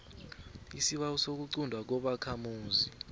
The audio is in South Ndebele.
isibawo sokuquntwa kobakhamuzi